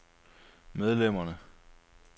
medlemmerne